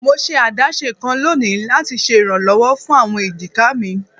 Mo ṣe adaṣe kan loni lati ṣe iranlọwọ fun awọn ejika mi